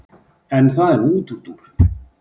En það er nú útúrdúr.